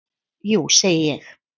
Jú segi ég.